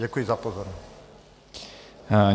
Děkuji za pozornost.